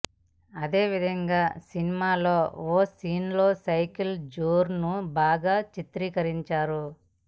అదే విధంగా సినిమాలో ఓ సీన్లో సైకిళ్ల జోరును బాగా చిత్రీకరించారు